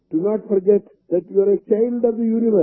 do not forget that you are a child of the universe